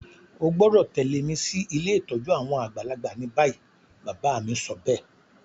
O gbọ́dọ̀ tẹ̀lẹ́ mi si ilé ìtójú àwon àgbàlagbà ni bayi. Bàbá mi sobéè